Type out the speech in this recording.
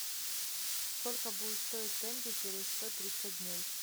сколько будет стоить тенге через сто тридцать дней